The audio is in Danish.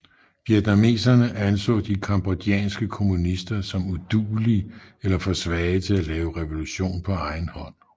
Vietnameserne anså de cambodjanske kommunister som uduelige eller for svage til at lave revolution på egen hånd